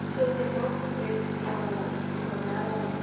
Os seus irmãos, eles foram, se tornaram o quê?